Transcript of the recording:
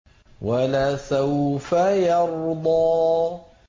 وَلَسَوْفَ يَرْضَىٰ